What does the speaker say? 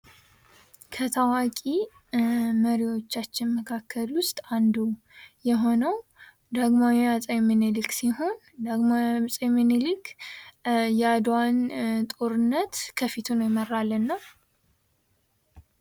ከታዋቂ መሪወቻችን መካከል አንዱ የሆነ ዳግማዊ አጼ ሚኒሊክ ሲሆን ዳግማዊ አጼ ሚኒሊክ የአድዋን ጦርነት ከፊት ሁኖ የመራልን ነው።